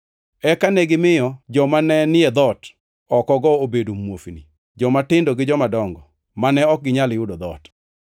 Eka negimiyo jomanenie dhoot oko-go obedo muofni, jomatindo gi jomadongo, mane ok ginyal yudo dhoot.